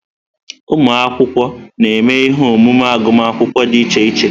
Ụmụ akwụkwọ na-eme ihe omume agụmakwụkwọ dị iche iche.